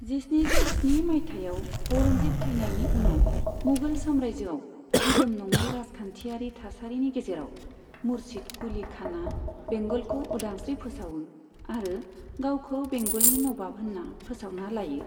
जिस्निजौ स्नि मायथाइयाव औरंगजेब थैनायनि उनाव मुगल साम्रायजोआव दिदोम नङै राजखान्थियारि थासारिनि गेजेराव, मुर्शिद कुली खानआ बेंगलखौ उदांस्रि फोसावो आरो गावखौ बेंगलनि नवाब होनना फोसावना लायो।